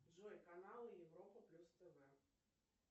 джой каналы европа плюс тв